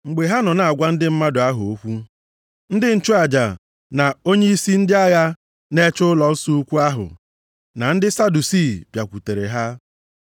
Mgbe ha nọ na-agwa ndị mmadụ ahụ okwu, ndị nchụaja na onyeisi ndị agha na-eche ụlọnsọ ukwu ahụ na ndị Sadusii bịakwutere ha.